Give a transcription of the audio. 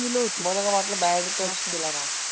मुलं होती, मला काय वाटलं bad touch केलंन?